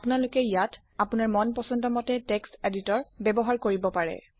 আপোনালোকে ইয়াও আপোনাৰ মন পচন্দ মতে টেক্সট এডিটৰ ব্যৱহাৰ কৰিব পাৰে